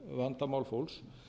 greiðsluvandamál fólks